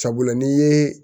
Sabula n'i ye